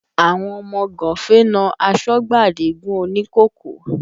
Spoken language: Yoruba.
Àwọn ọmọ gánfè na asọ́gbà Adigun òní kòkó